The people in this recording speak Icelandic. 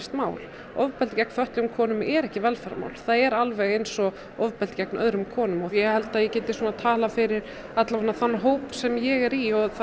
mál ofbeldi gegn fötluðum konum er ekki velferðarmál það er alveg eins og ofbeldi gegn öðrum konum ég held ég geti talað fyrir þann hóp sem ég er í og